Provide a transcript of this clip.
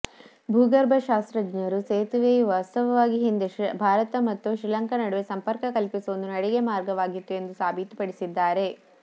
ಭೂಗರ್ಭಶಾಸ್ತ್ರಜ್ಞರು ಸೇತುವೆಯು ವಾಸ್ತವವಾಗಿ ಹಿಂದೆ ಭಾರತ ಮತ್ತು ಶ್ರೀಲಂಕಾ ನಡುವೆ ಸಂಪರ್ಕ ಕಲ್ಪಿಸುವ ಒಂದು ನಡಿಗೆ ಮಾರ್ಗವಾಗಿತ್ತು ಎಂದು ಸಾಬೀತುಪಡಿಸಿದ್ದಾರೆ